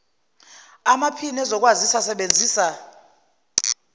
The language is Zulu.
amaphini ezokwazisa asebenzisa